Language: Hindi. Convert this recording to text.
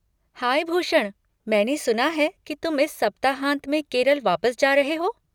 हाय भूषण, मैंने सुना है कि तुम इस सप्ताहांत में केरल वापस जा रहे हो?